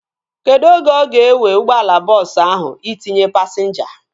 Kedụ oge ọ ga-ewe ụgbọala bọọsu ahu itinye pasinja?